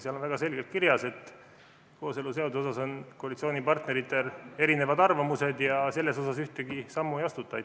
Seal on väga selgelt kirjas, et kooseluseaduse kohta on koalitsioonipartneritel erinevad arvamused ja selles asjas ühtegi sammu ei astuta.